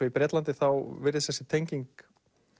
í Bretlandi virðist þessi tenging